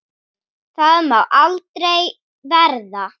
Það má aldrei verða.